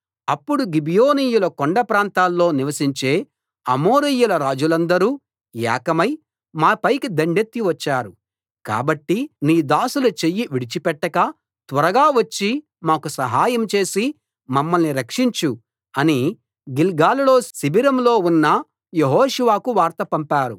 అప్పుడు గిబియోనీయుల కొండ ప్రాంతాల్లో నివసించే అమోరీయుల రాజులందరూ ఏకమై మాపైకి దండెత్తి వచ్చారు కాబట్టి నీ దాసుల చెయ్యి విడిచిపెట్టక త్వరగా వచ్చి మాకు సహాయం చేసి మమ్మల్ని రక్షించు అని గిల్గాలులో శిబిరంలో ఉన్న యెహోషువకు వార్త పంపారు